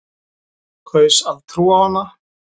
Kaus að trúa á hana.